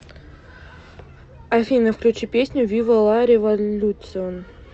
афина включи песню вива ла революцион